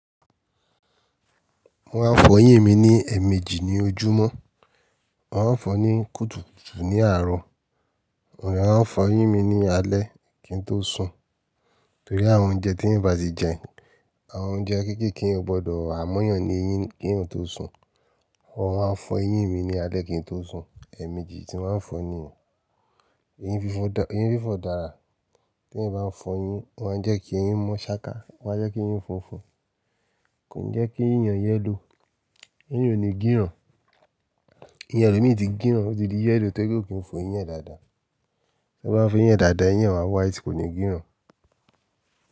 Mo máa ń fọ eyín mi ní ẹ̀ẹ̀mejì ní ojúmọ́. Mo máa ń fọ ní kùtùkùtù ní àárọ̀. Mo de máa ń fọ eyín mi ní alé kí n tó sùn. Torí àwọn oúnjẹ tí èèyàn bá ti jẹ, àwọn oúnjẹ kéékèèké yẹn o gbọdọ̀ há mọ́yàn ní eyín kí èèyàn tó sùn. Mọ́ máa ń fọ eyín mi ní alé kí n tó sùn. Ẹ̀ẹ̀mejì tí màá ń fò niyen. Eyín fi fọ eyín fi fọ dára. Tí ẹ̀yán bá fọ eyín, o máa ń jẹ́ kí ẹyín mọ́ ṣáká, o máa jẹ́ kí ẹyín funfun. Kò ní jẹ́ kí ẹyín èyán yẹ́lò. Eyín ò ní gíràn. Ẹyin ẹlòmí ti gíràn, ó ti di yẹ́lò tó ri pé ko fọ ẹyin e dáadáa. Tí ẹ bá ń fọ ẹyin a dáadáa, ẹyin máa white, kò ní gíràn.